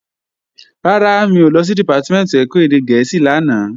Rárá, mi ò lọ sí Dìpátímẹ̀ntì ẹ̀kọ́ èdè gẹ̀ẹ́sì lánàá